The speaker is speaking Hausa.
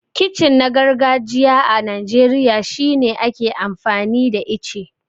Kicin na gargajiya a Najeriya shine ake amfani da ice.